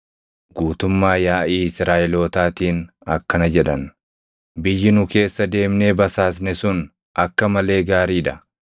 guutummaa yaaʼii Israaʼelootaatiin akkana jedhan; “Biyyi nu keessa deemnee basaasne sun akka malee gaarii dha.